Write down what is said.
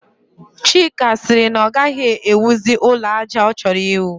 Chika sịrị na ọ gaghị ewuzi ụlọ àjà ọ chọrọ iwu